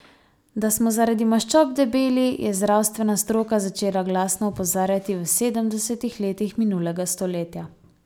Da smo zaradi maščob debeli, je zdravstvena stroka začela glasno opozarjati v sedemdesetih letih minulega stoletja.